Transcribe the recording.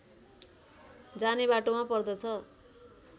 जाने बाटोमा पर्दछ